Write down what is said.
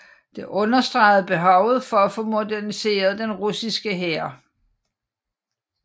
Det understregede behovet for at få moderniseret den russiske hær